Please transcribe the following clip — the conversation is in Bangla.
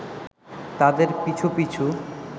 তাদের পিছু পিছু